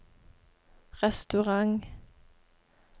restaurant